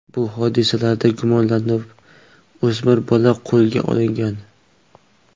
Bu hodisalarda gumonlanib, o‘smir bola qo‘lga olingan.